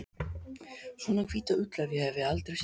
Svona hvíta ull hef ég aldrei séð.